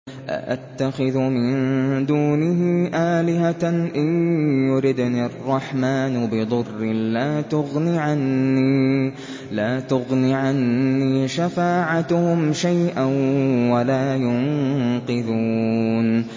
أَأَتَّخِذُ مِن دُونِهِ آلِهَةً إِن يُرِدْنِ الرَّحْمَٰنُ بِضُرٍّ لَّا تُغْنِ عَنِّي شَفَاعَتُهُمْ شَيْئًا وَلَا يُنقِذُونِ